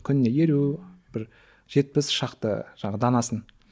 күніне елу бір жетпіс шақты данасын